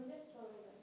Salam, necəsiniz?